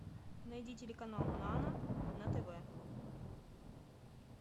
найди телеканал нано на тв